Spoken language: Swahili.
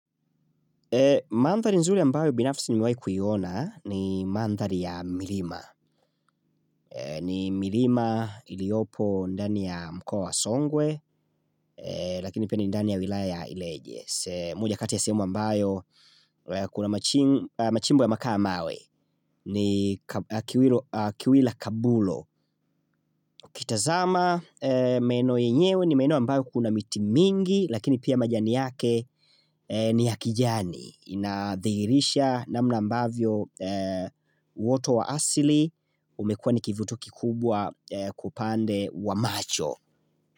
Mandhali nzuri ambayo binafsi nimewahi kuiona ni mandhali ya milima. Ni milima iliyopo ndani ya mkoa wa songwe lakini pia ni ndani ya wilaya ya ileje. Moja kati ya sehemu ambayo kuna machimbo yamekaa mawe ni kiwila kabulo. Ukitazama meno yenyewe ni meno ambayo kuna miti mingi lakini pia majani yake ni ya hakijani. Inadhirisha na mna ambavyo woto wa asili umekuwa nikivuto kikubwa upande wa macho.